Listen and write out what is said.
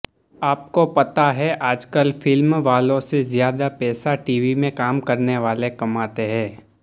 આપકો પતા હૈ આજકલ ફિલ્મવાલો સે ઝ્યાદા પૈસા ટીવીમે કામ કરનેવાલે કમાતે હૈ